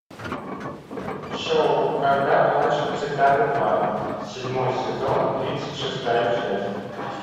шоу когда плачут цикады два седьмой сезон тридцать шестая часть